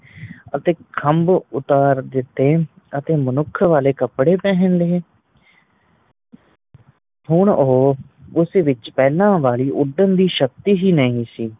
ਅਤੇ ਖੱਬ ਉਤਾਰ ਦਿੱਤੇ ਅਤੇ ਮਨੁੱਖ ਵਾਲੇ ਕਪੜੇ ਪਹਿਨ ਲਏ ਹੁਣ ਉਹ ਉਸ ਵਿੱਚ ਪਹਿਲਾਂ ਵਾਲੀ ਉਡਣ ਦੀ ਸ਼ਕਤੀ ਨਹੀਂ ਸੀ